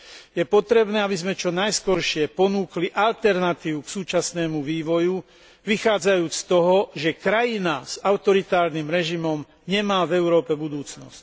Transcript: Je potrebné, aby sme čo najskôr ponúkli alternatívu k súčasnému vývoju, vychádzajúc z toho, že krajina s autoritatívnym režimom nemá v Európe budúcnosť.